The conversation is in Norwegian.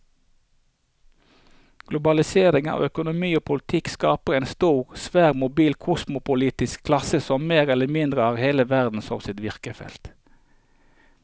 Globaliseringen av økonomi og politikk skaper en stor, svært mobil kosmopolitisk klasse som mer eller mindre har hele verden som sitt virkefelt.